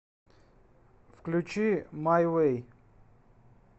включи май вэй